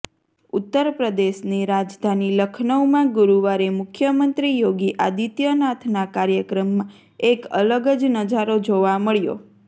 ઉત્તર પ્રદેશની રાજધાની લખનઉમાં ગુરૂવારે મુખ્યમંત્રી યોગી આદિત્યનાથનાં કાર્યક્રમમાં એક અલગ જ નજારો જોવા મળ્યો